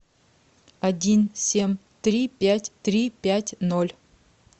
один семь три пять три пять ноль